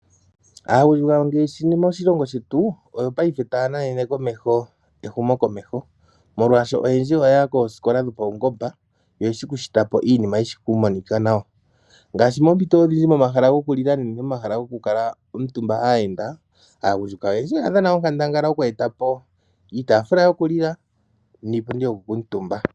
Aagundjuka ngaashi moshilongo shetu oyo paife taya nanene ehumo komeho, molwaasho oyendji oya ya koosikola dhipayungomba oyeshi okushitapo iinima tayimonika nawa. Ngaashi moompito odhindji momahala gokulila nenge momahala gokukala aayenda. Aagundjuka oyendji oya dhana onkandangala yoku etapo iitaafula yokulila niipundi yokukaantumba.